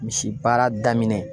Misi baara daminɛ